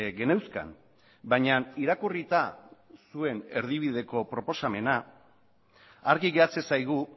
geneuzkan baina irakurrita zuen erdibideko proposamena argi geratzen zaigu